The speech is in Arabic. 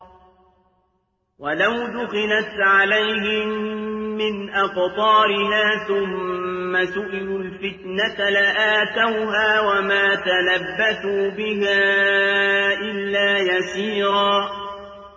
وَلَوْ دُخِلَتْ عَلَيْهِم مِّنْ أَقْطَارِهَا ثُمَّ سُئِلُوا الْفِتْنَةَ لَآتَوْهَا وَمَا تَلَبَّثُوا بِهَا إِلَّا يَسِيرًا